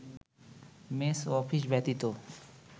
mace ও office ব্যতীত